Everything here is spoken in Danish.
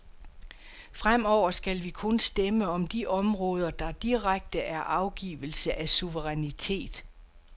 Fremover skal vi kun stemme om de områder, der direkte er afgivelse af suverænitet.